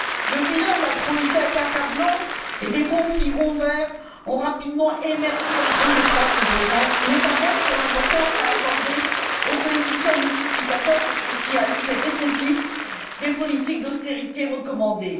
Le bilan de la troïka est accablant et des conflits ouverts ont rapidement émergé entre ses trois composantes, notamment sur l'importance à accorder au coefficient multiplicateur associé à l'effet récessif des politiques d'austérité recommandées.